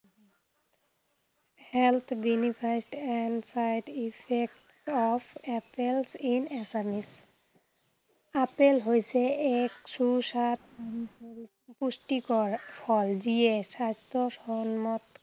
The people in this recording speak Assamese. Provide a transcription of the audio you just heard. health benefits and side effects of apple in assamese apple হৈছে এক সুস্বাদ পুষ্টিকৰ ফল যিয়ে খাদ্য় প্ৰাণত